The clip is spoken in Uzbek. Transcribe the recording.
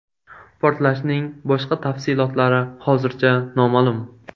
Portlashning boshqa tafsilotlari hozircha noma’lum.